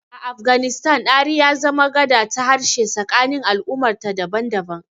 A Afganistan, Dari ya zama gada ta harshe tsakanin al'ummarta daban-daban.